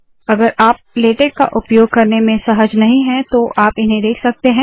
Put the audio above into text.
अगर आप लेटेक का उपयोग करने में सहज नहीं है तो आप इन्हें देख सकते है